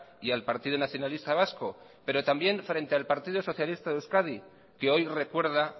y al partido nacionalista vasco pero también frente al partido socialista de euskadi que hoy recuerda